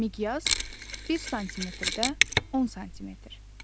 Miqyas, 1 sm-də 10 sm.